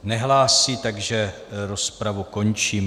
Nehlásí, takže rozpravu končím.